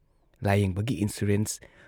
ꯂꯥꯌꯦꯡꯕꯒꯤ